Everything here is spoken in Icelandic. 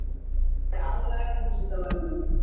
Svarið er aðlagað Vísindavefnum.